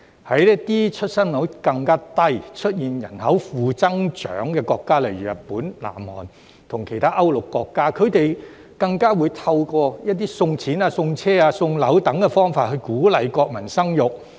在一些出生率更低，出現人口負增長的國家，例如日本、南韓，以及其他歐陸國家，它們更會透過送錢、送車、送樓等方法鼓勵國民生育。